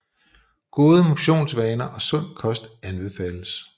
Gode motionsvaner og sund kost anbefales